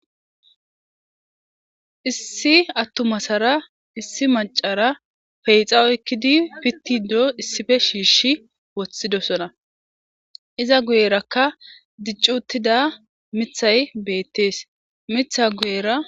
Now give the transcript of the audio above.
Issi atuma asarra macca asarra pixxa oyqidi pitishe issippe shishi wothidossonaizza guyerakka dicci uttida mithay bettes.